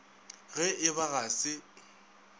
ge e ba ga se